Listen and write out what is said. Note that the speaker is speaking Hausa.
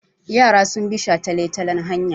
Yara sun bi shataletalen hanya.